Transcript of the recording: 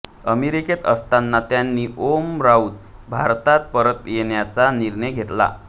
अमेरिकेत असताना यांनी ओम राऊत भारतात परत येण्याचा निर्णय घेतला